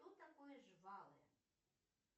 что такое жвалы